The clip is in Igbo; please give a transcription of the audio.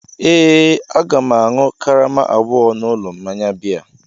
Ee, Aga m ga-aṅụ karama abụọ n'ụlọ mmanya biya.